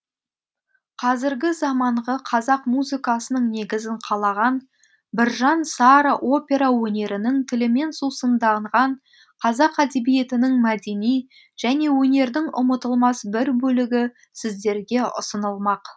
қазіргі заманғы қазақ музыкасының негізін қалаған біржан сара опера өнерінің тілімен сусындаған қазақ әдебиетінің мәдени және өнердің ұмытылмас бір бөлігі сіздерге ұсынылмақ